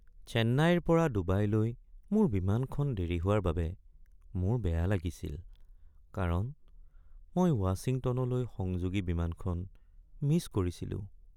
চেন্নাইৰ পৰা ডুবাইলৈ মোৰ বিমানখন দেৰি হোৱাৰ বাবে মোৰ বেয়া লাগিছিল কাৰণ মই ৱাশ্বিংটনলৈ সংযোগী বিমানখন মিছ কৰিছিলো।